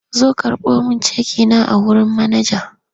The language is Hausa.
Zo karɓo min ceki na a wurin manaja!